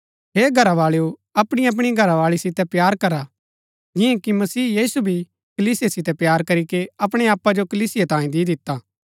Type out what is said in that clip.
हे घरावाळेओ अपणीअपणी घरावाळी सितै प्‍यार करा जिआं कि मसीह यीशु भी कलीसिया सितै प्‍यार करीके अपणै आपा जो कलीसिया तांई दी दिता